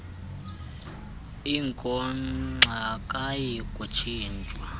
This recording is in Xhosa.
inkonkxa akayi kutshintshwa